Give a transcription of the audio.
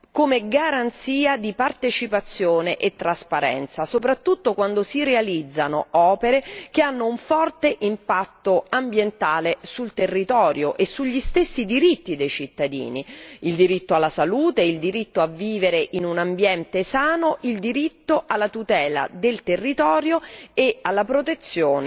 come garanzia di partecipazione e trasparenza, soprattutto quando si realizzano opere che hanno un forte impatto ambientale sul territorio e sugli stessi diritti dei cittadini il diritto alla salute, il diritto a vivere in un ambiente sano, il diritto alla tutela del territorio e alla protezione